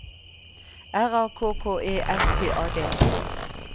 R A K K E S T A D